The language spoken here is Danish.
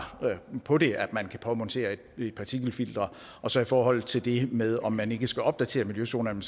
på det altså at man kan påmontere et partikelfilter så i forhold til det med om man ikke skal opdatere miljøzonen